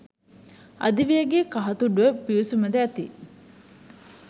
අධිවේගේ කහතුඩුව පිවිසුම ද ඇති